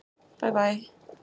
Bæ bæ!